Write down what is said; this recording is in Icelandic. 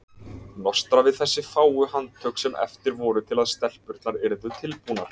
Nostra við þessi fáu handtök sem eftir voru til að stelpurnar yrðu tilbúnar.